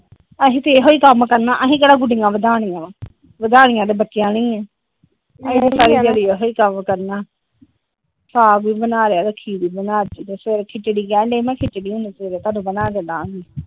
ਅਸੀਂ ਤਾ ਇਹੋ ਕੰਮ ਕਰਨਾ ਅਸੀਂ ਕਹਿੜਾ ਗੁਡੀਆਂ ਵਦਾਨੀਆ ਵਦਾਨੀਆ ਤੇ ਬੱਚਿਆਂ ਨੇ ਈ ਆ ਅਸੀਂ ਤੇ ਸਾਰੀ ਦਿਹਾੜੀ ਆਹੀ ਕੰਮ ਕਰਨਾਂ ਸਾਗ ਵੀ ਬਣਾ ਲਿਆ ਖੀਰ ਵੀ ਬਨਾਤੀ ਤੇ ਸਵੇਰੇ ਖਿਚੜੀ ਕਹਿਣ ਦਿਆਂ ਸੀ ਮੈ ਕਿਹਾ ਖਿਚੜੀ ਹੁਣ ਸਵੇਰੇ ਬਣਾਕੇ ਦਵਾਗੀ ।